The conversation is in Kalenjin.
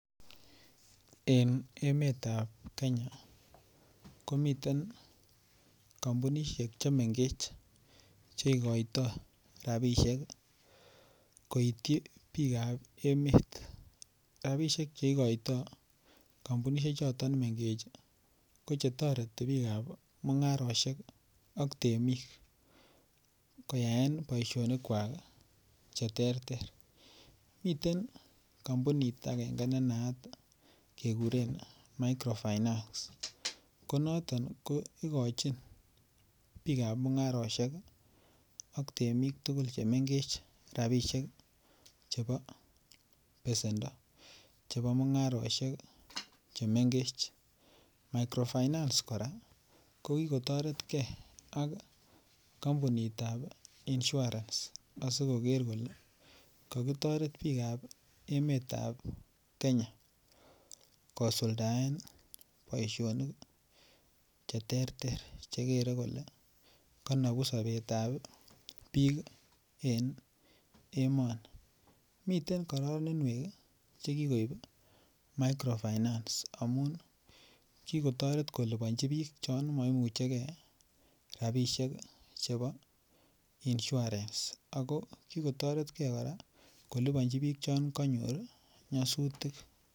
En emetab Kenya ko miten kampunisiek Che mengech Che igoitoi rabisiek koityi bikap emet rabisiek Che igoitoi kampunisiek choton mengech ko Che toreti bikap mungarosiek ak temik koyaen boisionik kwak Che terter miten kampunit agenge ne naat keguren micro finance ko noton ko igochin bikap mungarosiek ak temik tugul Che mengech rabisiek chebo besendo chebo mungarosiek Che mengech microfinance kora kokitoret ge ak kampunitab insurance asi koker kole kakitoret bikap emet ab Kenya kosuldaen boisinik Che terter Che kere kole konobu sobet ab bik en emoni miten kororoninwek Che kikoib micro finance amun ki kotoret kolipanchi bik chon maimuche ge rabisiek chebo insurance ago ki kotoretge kora kolipanji bik chon kanyor nyasutik